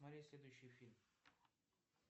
смотреть следующий фильм